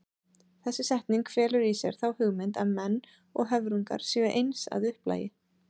Þessi setning felur í sér þá hugmynd að menn og höfrungar séu eins að upplagi.